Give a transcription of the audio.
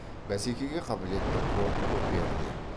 бәсекеге қабілетті порт коперде